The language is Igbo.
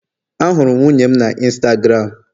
Ahụrụ m nwunye m na Instagram